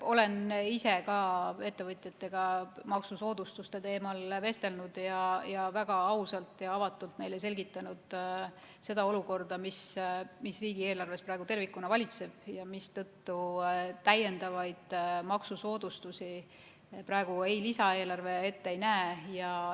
Olen ka ise ettevõtjatega maksusoodustuste teemal vestelnud ning neile väga ausalt ja avatult selgitanud olukorda, mis riigieelarves praegu tervikuna valitseb ja mistõttu täiendavaid maksusoodustusi praegu lisaeelarve ette ei näe.